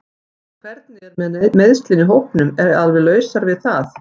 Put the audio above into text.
En hvernig er með meiðslin í hópnum alveg lausar við það?